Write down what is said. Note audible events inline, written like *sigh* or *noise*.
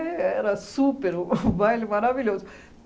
éh era super, o *laughs* o baile maravilhoso.